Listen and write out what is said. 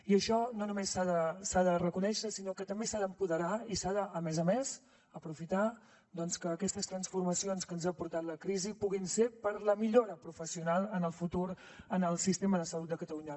i això no només s’ha de reconèixer sinó que també s’ha d’empoderar i s’ha de a més a més aprofitar doncs que aquestes transformacions que ens ha portat la crisi puguin ser per a la millora professional en el futur en el sistema de salut de catalunya